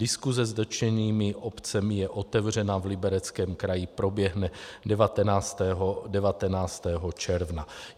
Diskuse s dotčenými obcemi je otevřená v Libereckém kraji, proběhne 19. června.